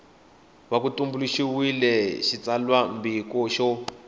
va ku tumbuluxiwile xitsalwambiko xo